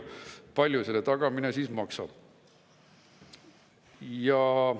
Palju selle tagamine siis maksab?